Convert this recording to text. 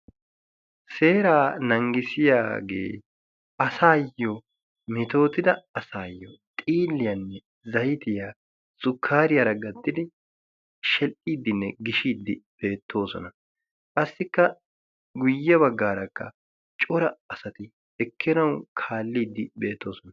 Seeraa nanggisiyaagee asaayyo mitootida asaayyo xiiliyaanne zaitiyaa zukkaariyaara gattidi shel"iiddinne gishiiddi beettoosona. qassikka guyye baggaarakka cora asati ekkenau kaalliiddi beettoosona.